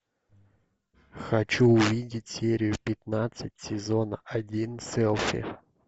хочу увидеть серию пятнадцать сезона один селфи